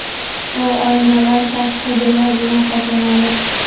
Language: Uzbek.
U oynavand tashqi devor bilan qoplanadi.